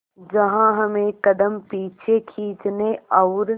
जहां हमें कदम पीछे खींचने और